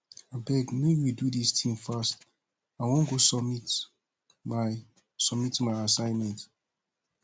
abeg make we do dis thing fast i wan go submit my submit my assignment